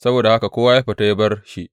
Saboda haka kowa ya fita ya bar shi.